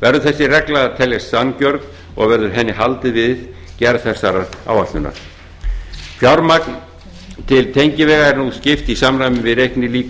verður þessi regla að teljast sanngjörn og verður henni haldið við gerð þessara áætlunar fjármagn til tengivega er nú skipt í samræmi